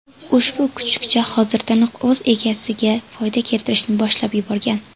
Ushbu kuchukcha hozirdanoq o‘z egasiga foyda keltirishni boshlab yuborgan.